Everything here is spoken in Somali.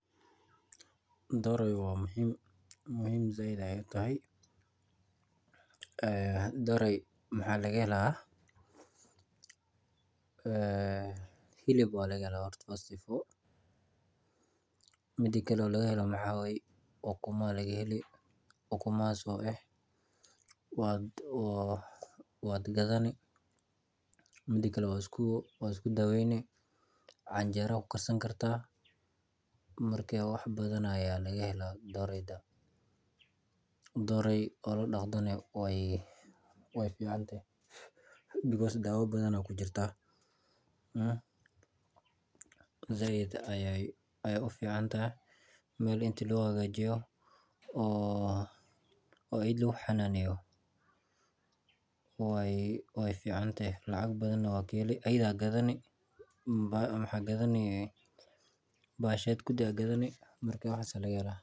Doorey waa muhiim sait ayeey tahay waxaa laga helaa hilib mida kale waxaa waye ukuma ayaa laga heli ukumahaas waad gadani waa isku daweyni canjera ayaa ku karsani kartaa in ladaqdo waay fican tahay daawa badan ayaa kujiraa meel in lahagajiyo oo lagu daqdo waay fican tahay.